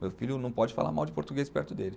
Meu filho não pode falar mal de português perto dele.